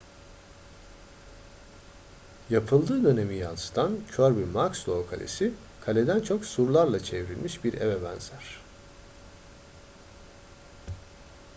yapıldığı dönemi yansıtan kirby muxloe kalesi kaleden çok surlarla çevrilmiş bir eve benzer